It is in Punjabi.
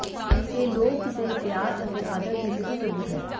ਇਹ ਲੋਕ ਦੇ ਪਿਆਰ ਅਤੇ ਆਦਰ ਦੀ ਸਿੱਧੀ ਸਬੂਤ ਹੈ